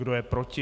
Kdo je proti?